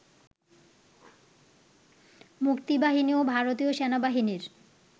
মুক্তিবাহিনী ও ভারতীয় সেনাবাহিনীর